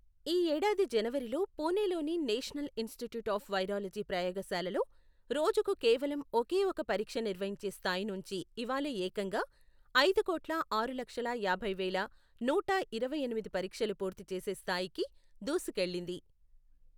ఈ ఏడాది జనవరిలో పుణెలోని నేషనల్ ఇన్స్టిట్యూట్ ఆఫ్ వైరాలజీ ప్రయోగశాలలో, రోజుకు కేవలం ఒకేఒక పరీక్ష నిర్వహించే స్థాయి నుంచి ఇవాళ ఏకంగా, ఐదు కోట్ల ఆరు లక్షల యాభై వేల నూట ఇరవైఎనిమిది పరీక్షలు పూర్తిచేసే స్థాయికి దూసుకెళ్లింది.